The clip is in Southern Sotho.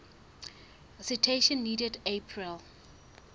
citation needed april